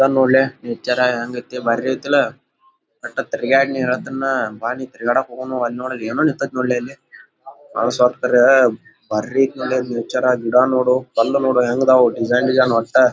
nature ಹೆಂಗೈತಿ ಭಾರಿ ಐಥಲ್ಲ ಒಟ್ಟ ತಿರಗಡು ನೀ ಹೆಲ್ತಿನಿ ನಾ ಬಾ ನಿ ತಿರುಗಾಡೋಕೆ ಹೋಗೊಣು ಅಲ್ಲ ನೊಡ ಅಲ್ಲಿ ಎನೊ ನಿಂತೈತಿ ನೋಡ್ ಅಲ್ಲಿ ಅವ ಸತ್ತರೆ ಭಾರಿ ಐತ್ ನೇಚರ ಗಿಡ ನೋಡು ಕಲ್ಲು ನೊಡ ಹೆಂಗ್ ಅದ್ದವು ಡಿಸೈನ್ ಡಿಸೈನ್ ಒಟ್ಟ--